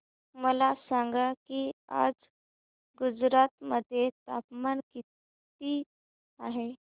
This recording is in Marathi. मला सांगा की आज गुजरात मध्ये तापमान किता आहे